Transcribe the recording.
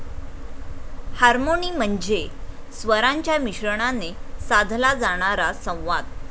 Harmony म्हणजे स्वरांच्या मिश्रणाने साधला जाणारा संवाद.